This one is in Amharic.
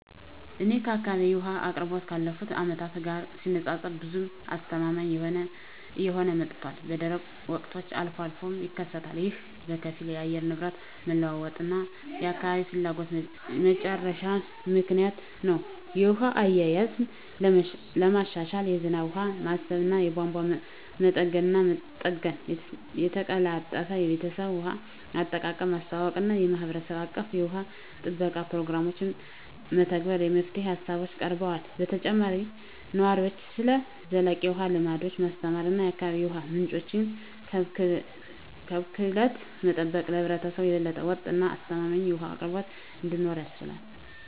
በእኔ አካባቢ የውሃ አቅርቦት ካለፉት አመታት ጋር ሲነፃፀር ብዙም አስተማማኝ እየሆነ መጥቷል፣ በደረቅ ወቅቶች አልፎ አልፎም ይከሰታሉ። ይህ በከፊል የአየር ንብረት መለዋወጥ እና የአካባቢ ፍላጎት መጨመር ምክንያት ነው. የውሃ አያያዝን ለማሻሻል የዝናብ ውሃ ማሰባሰብ፣ የቧንቧ መጠገንና መጠገን፣ የተቀላጠፈ የቤተሰብ ውሃ አጠቃቀምን ማስተዋወቅ እና የማህበረሰብ አቀፍ የውሃ ጥበቃ ፕሮግራሞችን መተግበር የመፍትሄ ሃሳቦች ቀርበዋል። በተጨማሪም ነዋሪዎችን ስለ ዘላቂ የውሃ ልምዶች ማስተማር እና የአካባቢ የውሃ ምንጮችን ከብክለት መጠበቅ ለህብረተሰቡ የበለጠ ወጥ እና አስተማማኝ የውሃ አቅርቦት እንዲኖር ያስችላል።